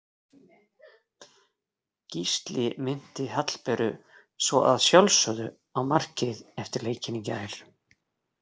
Gísli minnti Hallberu svo að sjálfsögðu á markið eftir leikinn í gær.